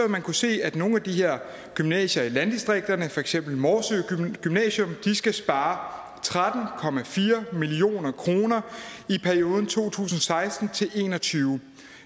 man kunne se at nogle af de her gymnasier i landdistrikterne for eksempel morsø gymnasium skal spare tretten million kroner i perioden to tusind og seksten til en og tyve